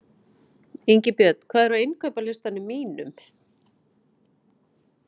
Ingibjörn, hvað er á innkaupalistanum mínum?